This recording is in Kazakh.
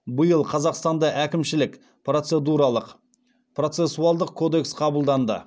биыл қазақстанда әкімшілік процедуралық процессуалдық кодекс қабылданды